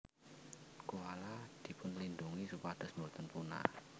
Koala dipunlindungi supados boten punah